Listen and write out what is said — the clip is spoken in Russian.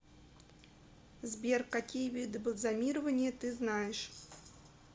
сбер какие виды бальзамирование ты знаешь